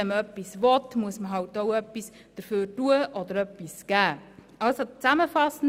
Wenn man etwas will, muss man auch etwas dafür tun oder geben.